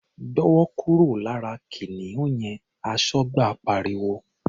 "Gbọ́wọ́ kúrò lára kìnìún yẹn!", Aṣọ́gbà pariwo.